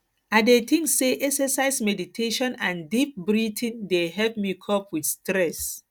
i dey think say exercise meditation and deep breathing dey help me cope with stress